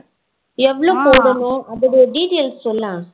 எவளோ போனும் அதோட details சொல்லே